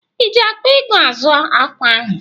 Iji akpa ego azụ ákwà ahụ?